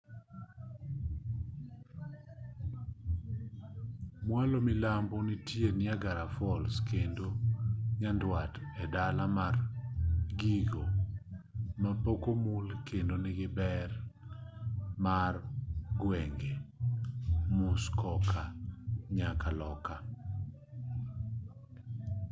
mwalo milambo nitie niagara falls kendo nyandwat en dala mar gigo mapok omul kendo nigi ber mar gwenge muskoka nyaka loka